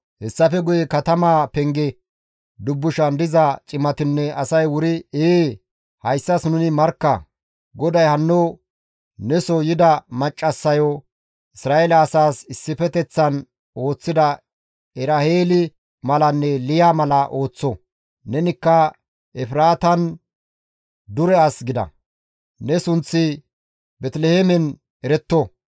Hessafe guye katamaa penge dubbushan diza cimatinne asay wuri, «Ee, hayssas nuni markka! GODAY hanno neso yida maccassayo, Isra7eele asaas issifeteththan ooththida Eraheeli malanne Liya mala ooththo. Nenikka Efraatan dure as gida; ne sunththi Beeteliheemen eretto.